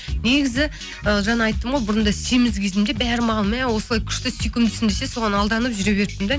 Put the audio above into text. негізі ы жаңа айттым ғой бұрында семіз кезімде бәрі маған мә осылай күшті сүйкімдісің десе соған алданып жүре беріппін де